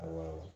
Awɔ